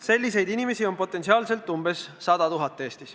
Selliseid inimesi on Eestis potentsiaalselt umbes 100 000.